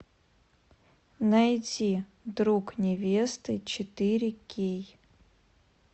найти друг невесты четыре кей